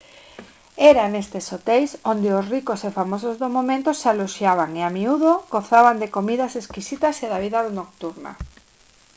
era nestes hoteis onde os ricos e famosos do momento se aloxaban e a miúdo gozaban de comidas exquisitas e da vida nocturna